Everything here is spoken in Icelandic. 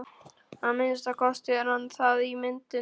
Að minnsta kosti er hann það í myndunum.